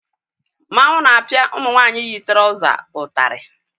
Mmanwụ na-apịa ụmụ nwaanyị yi trọza ụtarị